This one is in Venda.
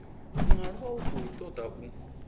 mualuwa u khou toda u